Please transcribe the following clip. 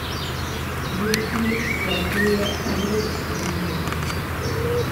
Rupnik svetuje Evropski uniji.